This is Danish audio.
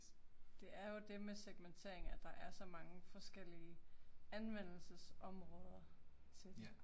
Det er jo det med segmentering, at der er så mange forskellige anvendelsesområder til det